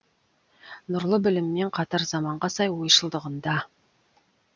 нұрлы білімімен қатар заманға сай ойшылдығында